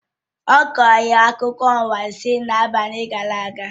Ọ kọrọ anyị akụkọ anwansi n'abalị gara aga